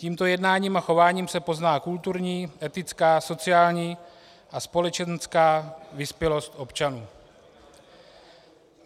Tímto jednáním a chováním se pozná kulturní, etická, sociální a společenská vyspělost občanů.